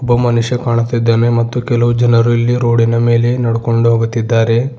ಒಬ್ಬ ಮನುಷ್ಯ ಕಾಣುತ್ತಿದ್ದಾನೆ ಮತ್ತು ಕೆಲವು ಜನರು ಇಲ್ಲಿ ರೋಡಿನ ಮೇಲೆ ನಡುಕೊಂಡು ಹೋಗುತಿದ್ದಾರೆ.